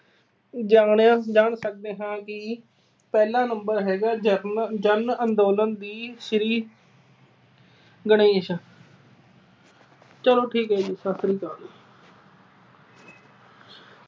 ਜਾਣਿਆ ਜਾ ਸਕਦਾ ਹੈ ਕਿ ਪਹਿਲਾ number ਹੈਗਾ ਜਨ ਅਹ ਜਨ ਅੰਦੋਲਨ ਦੀ ਸ਼੍ਰੀ ਗਣੇਸ਼ ਚਲੋ ਠੀਕ ਆ ਜੀ। ਸਤਿ ਸ੍ਰੀ ਅਕਾਲ।